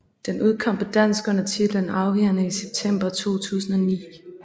Den udkom på dansk under titlen Afvigerne i september 2009